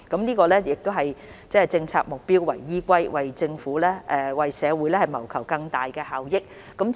這是以政策目標為依歸，為社會謀求更大效益。